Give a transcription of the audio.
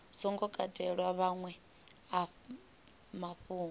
songo katelwa maṅwe a mafhungo